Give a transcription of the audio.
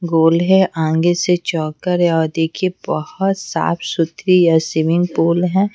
गोल है आगे से चौकर है और देखिए बहुत साफ सुथरी या सिमिंग पूल है।